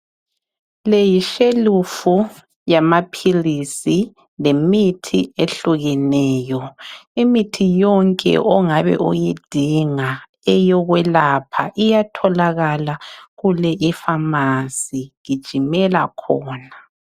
Le yishelufu Yamaphilisi le mithi ehlukeneyo. Imithi yonke ongabe uyidinga eyokwelapha iyatholakala kule ipharmacy. Gijimela khona.